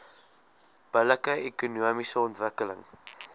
billike ekonomiese ontwikkeling